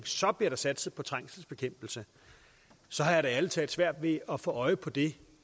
så bliver der satset på trængselsbekæmpelse så har jeg da ærlig talt svært ved at få øje på det